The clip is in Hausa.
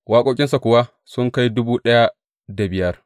Waƙoƙinsa kuwa sun kai dubu ɗaya da biyar.